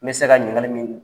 N bɛ se ka ɲininkali min